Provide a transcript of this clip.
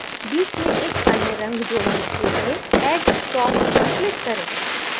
बीच में एक अन्य रंग जोडने के लिए add stop पर click करें